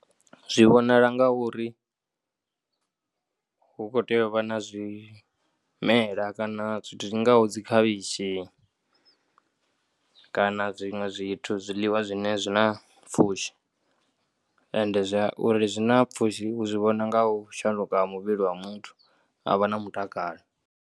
Zwi vhonala nga uri hu kho tea u vha na zwimela kana zwithu zwi ngaho dzi khavhishi kana zwiṅwe zwithu, zwiḽiwa zwine zwi na pfhushi ende u ri zwi na pfhushi hu zwi vhona nga u shanduka ha muvhili wa muthu a vha na mutakalo.